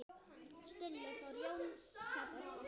Stulli fór, Jón sat eftir.